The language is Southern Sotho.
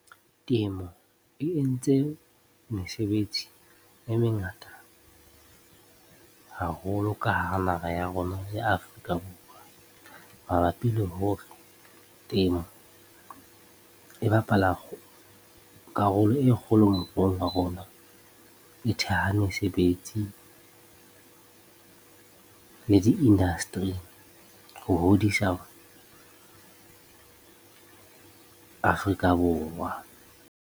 Temo e entse mesebetsi e mengata haholo ka hara naha ya rona ya Afrika Borwa. Mabapi le hore temo e bapala karolo e kgolo moruong wa rona, e theha mesebetsi le di-industry ho hodisa Afrika Borwa.